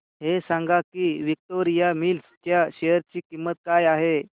हे सांगा की विक्टोरिया मिल्स च्या शेअर ची किंमत काय आहे